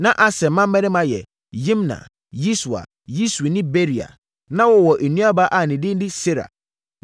Na Aser mmammarima yɛ: Yimna, Yiswa, Yiswi ne Beria. Na wɔwɔ nuabaa a ne din de Sera.